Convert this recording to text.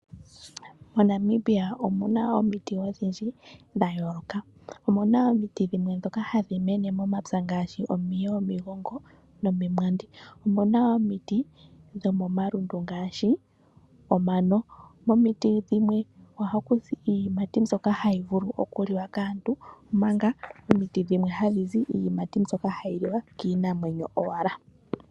MoNamibia omuna omiti odhindji dha yooloka. Omuna omiti dhimwe dhoka hadhi mene momapya ngaashi omiye, omigongo, nomimwandi. Omuna wo omiti dhomomalundu ngaashi omano. Momiti dhimwe ohaku zi iiyimati mbyoka hayi vulu okuliwa kaantu. Omanga omiti dhimwe hadhi zi iiyimati mbyoka hayi liwa kiinamwenyo owala.